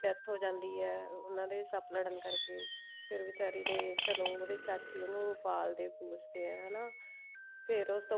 death ਹੋ ਜਾਂਦੀ ਹੈ ਉਹਨਾ ਦੇ ਸੱਪ ਲੜਨ ਕਰਕੇ ਫ਼ੇਰ ਵਿਚਾਰੀ ਦੇ ਚਲੋ ਉਹਦੇ ਚਾਚੀ ਉਹਨੂੰ ਪਾਲਦੇ ਪੋਸਦੇ ਆ ਹਨਾ ਫ਼ੇਰ ਉਸਤੋਂ